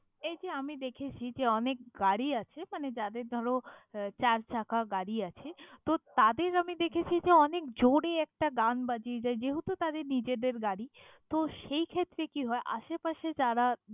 এই যে আমি দেখেছি যে অনেক গাড়ি আছে মানে যাদের ধরো আহ চারচাকা গাড়ি আছে, তো তাদের আমি দেখেছি যে অনেক জোরে একটা গান বাজিয়ে যায় যেহেতু, তাদের নিজেদের গাড়ি। তো সেইক্ষেত্রে কি হয়, আশেপাশে যারা।